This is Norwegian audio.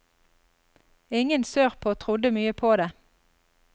Ingen sørpå trodde mye på det.